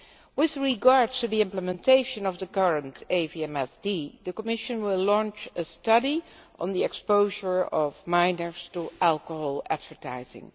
With regard to the implementation of the current AVMSD, the Commission will launch a study on the exposure of minors to alcohol advertising.